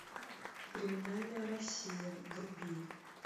криминальная россия вруби